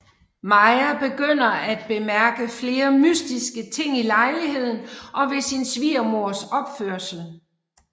Maja begynder at bemærke flere mystiske ting i lejligheden og ved sin svigermors opførsel